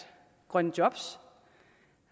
grønne job